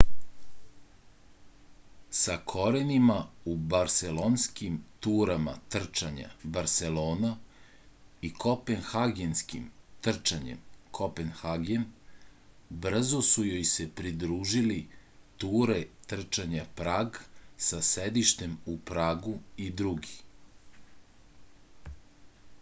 sa korenima u barselonskim turama trčanja barselona i kopenhagenskim trčanjem kopenhagen brzo su joj se pridružili ture trčanja prag sa sedištem u pragu i drugi